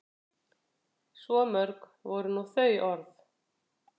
Svo mörg voru nú þau orð.